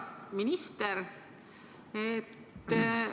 Hea minister!